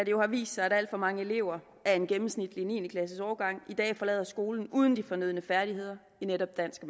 jo har vist sig at alt for mange elever af en gennemsnitlig niende klasseårgang i dag forlader skolen uden de fornødne færdigheder i netop dansk og